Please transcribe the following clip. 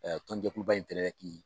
tɔn jɛkuluba in ki